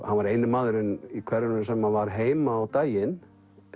hann var eini maðurinn í hverfinu sem var heima á daginn